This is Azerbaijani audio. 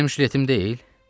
Bu mənim jiletm deyil?